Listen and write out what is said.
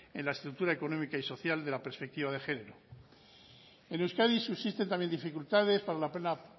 en la estructura económica y social de la perspectiva de género en euskadi subsisten también dificultades para la plena